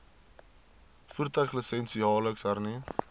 voertuiglisensie jaarliks hernu